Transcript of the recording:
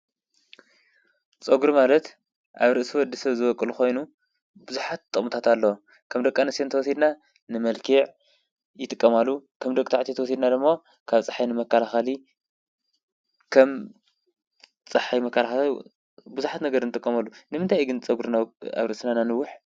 ፀጉሪ ማለት ኣብ ርእሲ ወዲሰብ ዝቦቅል ኮይኑ ብዙሓት ጥቅምታት ኣለዎም፡፡ ከም ደቂ ኣንስትዮ እንተወሲድና ንመልክዕ ይጥቀማሉ:: ከም ደቂ ተባዕትዮ እንተወሲድና ድማ ካብ ፀሓይ ንመከላኸሊ ከም ብዙሓት ነገር ንጥቀመሉ፡፡ ንምንታይ እዩ ግን ፀጉርና ኣብ ርእስና እነንውሕ?